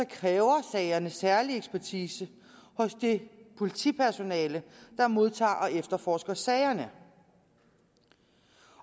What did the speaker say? kræver sagerne særlig ekspertise hos det politipersonale der modtager og efterforsker sagerne